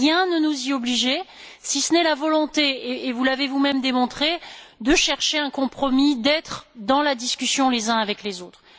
Rien ne nous y obligeait, si ce n'est la volonté et vous l'avez vous même démontré de chercher un compromis, d'être dans la discussion les uns avec les autres.